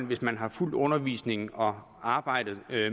hvis man har fulgt undervisningen og arbejdet